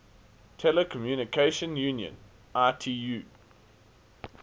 telecommunication union itu